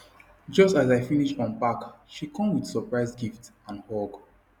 just as i finish unpack she come with surprise gift and hug